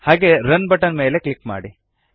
ಹಾಗೆ run button ಮೇಲೆ click ಮಾಡಿ